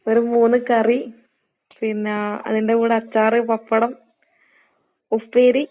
ഒര് മൂന്ന് കറി, പിന്നാ അതിന്റെ കൂടെ അച്ചാറ്, പപ്പടം, ഉപ്പേരി.